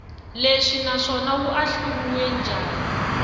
lexi naswona wu ahluriwe njhani